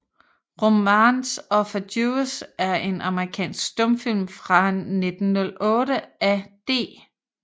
Romance of a Jewess er en amerikansk stumfilm fra 1908 af D